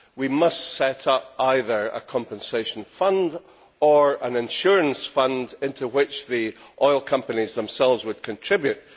We must set up either a compensation fund or an insurance fund to which the oil companies themselves would contribute.